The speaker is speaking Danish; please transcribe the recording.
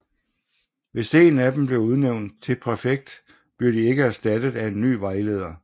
Hvis en af dem bliver udnævnt til præfekt bliver de ikke erstattet af en ny vejleder